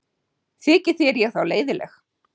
Þykir þér ég þá leiðinleg?